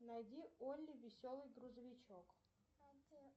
найди олли веселый грузовичок